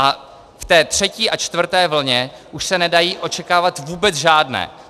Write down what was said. A v té třetí a čtvrté vlně už se nedají očekávat vůbec žádné.